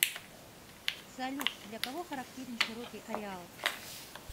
салют для кого характерен широкий ареал